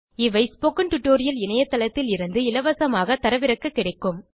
இவை spoken tutorial இணையதளத்திலிருந்து இலவசமாக தரவிறக்க கிடைக்கும்